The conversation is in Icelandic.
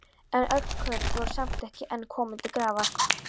En öll kurl voru samt ekki enn komin til grafar.